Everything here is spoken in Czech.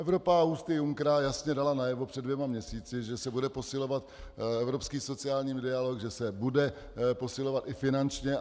Evropa ústy Junckera jasně dala najevo před dvěma měsíci, že se bude posilovat evropský sociální dialog, že se bude posilovat i finančně.